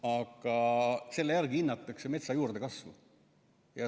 Aga selle järgi hinnatakse metsa juurdekasvu.